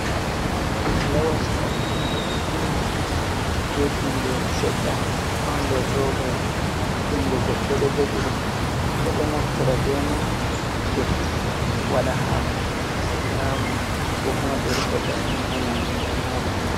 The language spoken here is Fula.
Hako lawasi, he’inga betingere sedda ɗo ha nder roba yel jungo goɗɗo ɗo jogi ɗum, ɓeɗo naftira be mai hadefuki, waɗa hako ɓe nyama ko koma ɓe rufa banin ha nyamdu ɓe nyama.